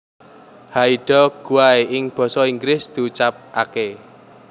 Haida Gwaii ing basa Inggris diucapkaké